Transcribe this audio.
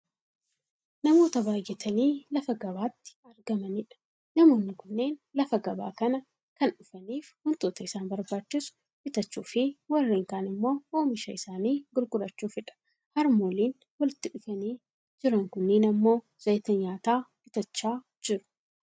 namoota baayyatanii lafa gabaati argamanidha. namoonni kunneen lafa gabaa kana kan dhufaniif wantoota isaan barbaachisu bitachuu fi warreen kaan ammoo oomisha isaanii gurgurachuufidha. harmooliin walitti dhufanii jiran kunniin ammoo zayita nyaataa bitachaa jiru.